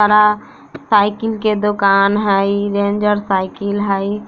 परा साइकिल के दुकान हेय रेंजर साइकिल हेय।